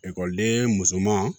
Ekɔliden musoman